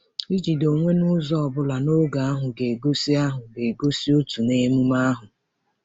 Ijide onwe n’ụzọ ọ bụla n’oge ahụ ga-egosi ahụ ga-egosi òtù n’emume ahụ.